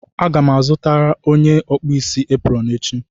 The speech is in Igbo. Aga m azụtara onye na-akpụ isi eprọn echi.